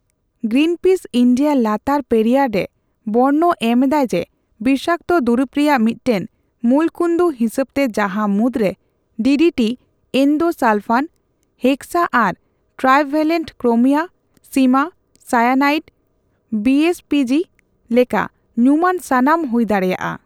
Greenpeace India ᱞᱟᱛᱟᱨ ᱯᱮᱨᱤᱭᱟᱨ ᱨᱮ ᱵᱚᱨᱱᱚ ᱮᱢ ᱫᱟᱭ ᱡᱮ ᱵᱤᱥᱟᱠᱛᱚ ᱫᱩᱨᱤᱵ ᱨᱮᱭᱟᱜ ᱢᱤᱫᱴᱟᱝ ᱢᱩᱞᱠᱩᱱᱫᱩ ᱦᱤᱥᱟᱹᱵ ᱛᱮ, ᱡᱟᱦᱟ ᱢᱩᱫ ᱨᱮ '' ᱰᱤᱰᱤᱴᱤ ᱮᱱᱫᱳᱥᱟᱞᱯᱷᱟᱱ, ᱦᱮᱠᱥᱟ ᱟᱨ ᱴᱨᱟᱭᱵᱷᱮᱞᱮᱱᱴ ᱠᱨᱳᱢᱤᱭᱟ, ᱥᱤᱢᱟ, ᱥᱟᱭᱟᱱᱟᱤᱰ, ᱵᱤᱮᱭᱤᱡᱥᱤ ᱞᱮᱠᱟ ᱧᱩᱢᱟᱱ ᱥᱟᱛᱟᱢ ᱦᱩᱭ ᱫᱟᱲᱮᱭᱟᱜ ᱟ ᱾